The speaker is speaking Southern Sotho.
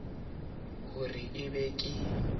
ho re e be ke